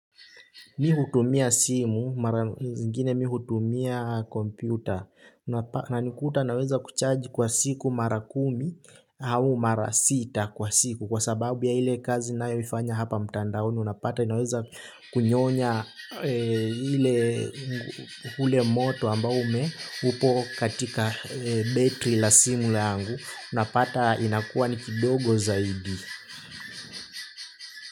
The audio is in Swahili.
Mimi hutumia simu, zingine mihutumia kompyuta. Unanikuta naweza kucharge kwa siku mara kumi au mara sita kwa siku kwa sababu ya ile kazi ninayoifanya hapa mtandaoni, unapata inaweza kunyonya. Ule moto ambao ume, upo katika battery la simu yangu, unapata inakua ni kidogo zaidi.